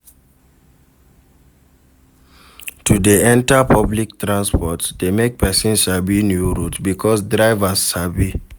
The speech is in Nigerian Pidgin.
To de enter public transports de make persin sabi new route because drivers sabi